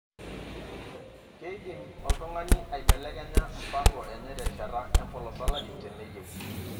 Keidim oltungani aibelekenya mpango enye terishata empolos olari teneyieu.